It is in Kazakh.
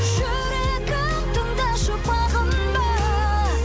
жүрегім тыңдашы бағынба